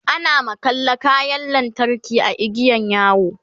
ana makalla kayan lantarki a igiyan yawo